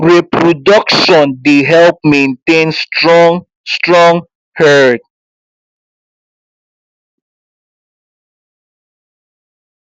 reproduction dey help maintain strong strong herd